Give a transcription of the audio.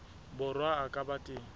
borwa a ka ba teng